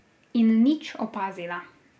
In nič opazila.